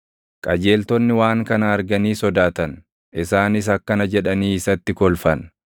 Qajeeltonni waan kana arganii sodaatan; isaanis akkana jedhanii isatti kolfan;